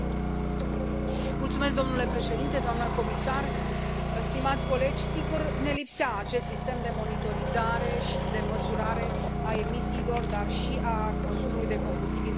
Domnule președinte, doamna comisar, stimați colegi, sigur, ne lipsea acest sistem de monitorizare și de măsurare a emisiilor, dar și a consumului de combustibil pentru vehiculele grele.